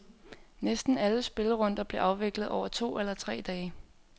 Næsten alle spillerunder blev afviklet over to eller tre dage.